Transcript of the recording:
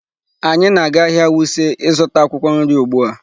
Anyị na-aga ahịa Wuse ịzụta akwụkwọ nri ugbu a.